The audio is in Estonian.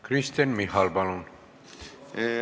Kristen Michal, palun!